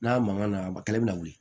N'a mankan na a ma kɛ ne bɛ na wuli